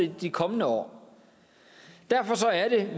i de kommende år derfor er det